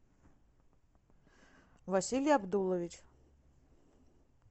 василий абдулович